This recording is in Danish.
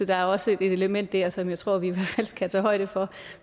der er også et element der som jeg tror vi i hvert fald skal tage højde for